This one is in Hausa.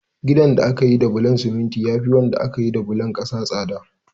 Ginin da aka yi da bulon siminti ya fi wanda aka yi da bulon ƙasa tsada.